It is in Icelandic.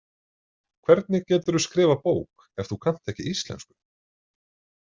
Hvernig geturðu skrifað bók ef þú kannt ekki íslensku?